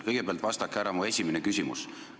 Kõigepealt vastake mu esimesele küsimusele.